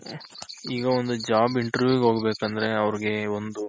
ಈಗ ಒಂದು job Interview ಗ್ ಹೋಗ್ಬೇಕಂದ್ರೆ ಅವ್ರಿಗೆ ಒಂದು